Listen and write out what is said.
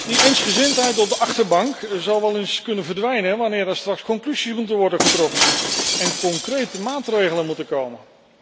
Die eensgezindheid op de achterbank zou wel eens kunnen verdwijnen, wanneer er straks conclusies moeten worden getrokken en er concrete maatregelen moeten komen.